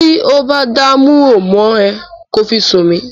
Tí ó bá dúnmọ̀huru mọ́ ẹ, kí ó fi sùn mí.